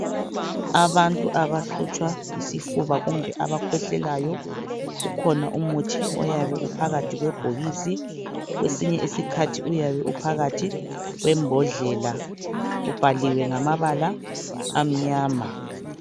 Abantu abahlutshwa yisifuba kumbe abakhwehlelayo ukhona umuthi uyabe uphakathi kwebhokisi kwesinye isikhathi uyabe uphakathi kwembodlela ubhaliwe ngamabala amnyama